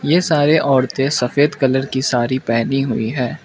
यह सारे औरतें सफेद कलर की साड़ी पहनी हुई है।